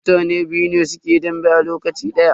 Mutane biyu ne suke dambe a lokaci daya.